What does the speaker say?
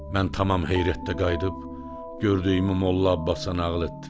Mən tamam heyrətdə qayıdıb gördüyümü Molla Abbasa nağıl etdim.